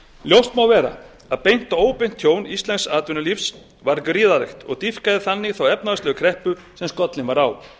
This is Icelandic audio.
ljóst má vera að beint og óbeint tjón íslensks atvinnulífs varð gríðarlegt og dýpkaði þannig þá efnahagslegu kreppu sem skollin var á